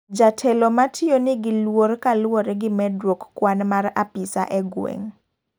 Jatelo matiyo ni gi luoro kaluwore gi medruok kwan mar apisa e gweng.